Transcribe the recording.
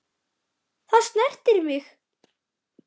Það snerti mig.